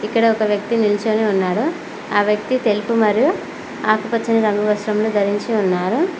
ఇక్కడ ఒక వ్యక్తి నిల్చోని ఉన్నారు ఆ వ్యక్తి తెలుపు మరియు ఆకుపచ్చని రంగు వస్త్రంను ధరించి ఉన్నారు.